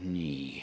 Nii.